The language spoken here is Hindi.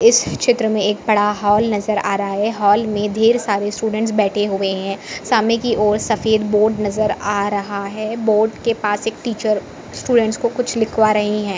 इस चित्र में बडा हॉल नजर आ रहा है हॉल में ढेर सारे स्टूडेंट बैठे हुए है सामने कि ओर सफेद बोर्ड नजर आ रहा है बोर्ड के पास एक टीचर स्टूडेंट को कुछ लिखवा रही है।